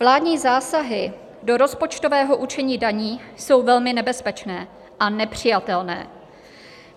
Vládní zásahy do rozpočtového určení daní jsou velmi nebezpečné a nepřijatelné.